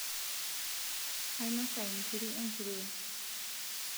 ainosa inkiri enkurue